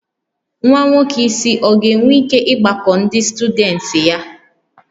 Nwa nwoke isi ọ ga-enwe ike ịgbakọ ndị syudents taa?